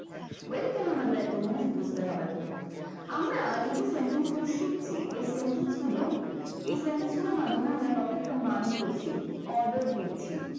well এবার আমাদের একটা english বুঝতে হবে আমরা এই যে sentence গুলো শিখছি এই sentence গুলো এই sentence গুলোর মাধ্যমে আমরা কাউকে command করছি order দিচ্ছি।